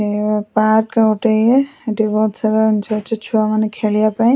ଏ park ଗୋଟେ ଇଏ ହେଟି ଗଛ ମେଞ୍ଚେ ଅଛି ଛୁଆମାନେ ଖେଳିବା ପାଇଁ।